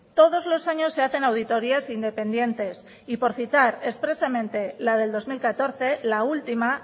todos los años se hacen auditorias independientes y por citar expresamente la del dos mil catorce la última